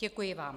Děkuji vám.